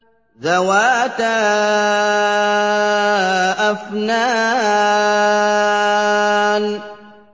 ذَوَاتَا أَفْنَانٍ